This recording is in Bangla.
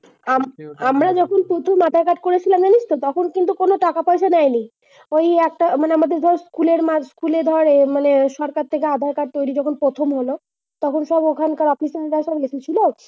আমরা কিন্তু প্রথম যখন আধার-কার্ড করেছিলাম জানিসতো তখন কিন্তু কোন টাকা-পয়সা নেয়নি। ঐ একটা মানে আমাদের ধর school এর মাঠ school এ ধর এ মানে সরকার থেকে আধার-কার্ড তৈরি প্রথম হল। তখন সব ঐখানকার official data লেগেছিল।